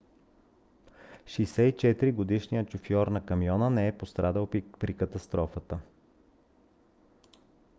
64-годишният шофьор на камиона не е пострадал при катастрофата